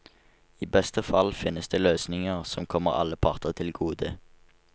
I beste fall finnes det løsninger som kommer alle parter til gode.